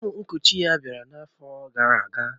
Ụmụ nkuchi ya bịara n'afọ gara aga